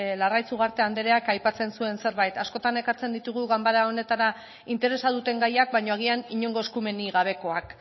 larraitz ugarte andreak aipatzen zuen zerbait askotan ekartzen ditugu ganbara honetara interesa duten gaiak baina agian inongo eskumenik gabekoak